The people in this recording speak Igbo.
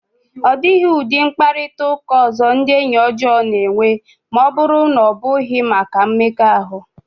Ọ dịghị ụdị mkparịta ụka ọzọ ndị enyi ọjọọ na-enwe ma ọ bụrụ na ọ bụghị maka mmekọahụ.